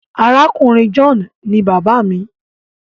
Àrákùnrin John ní bàbá mí.